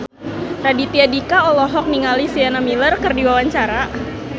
Raditya Dika olohok ningali Sienna Miller keur diwawancara